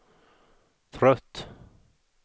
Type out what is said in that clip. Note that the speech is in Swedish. trött